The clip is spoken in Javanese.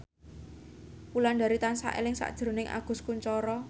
Wulandari tansah eling sakjroning Agus Kuncoro